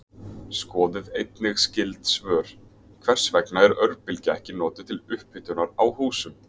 Skoðið einnig skyld svör: Hvers vegna er örbylgja ekki notuð til upphitunar á húsum?